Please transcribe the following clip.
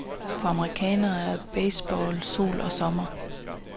For amerikanerne er baseball sol og sommer.